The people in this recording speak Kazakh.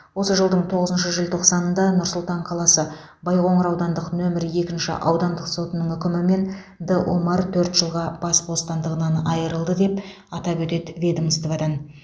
осы жылдың тоғызыншы желтоқсанында нұр сұлтан қаласы байқоңыр аудандық нөмірі екінші аудандық сотының үкімімен д омар төрт жылға бас бостандығынан айырылды деп атап өтеді ведомстводан